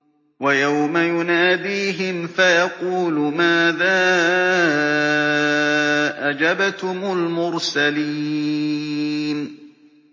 وَيَوْمَ يُنَادِيهِمْ فَيَقُولُ مَاذَا أَجَبْتُمُ الْمُرْسَلِينَ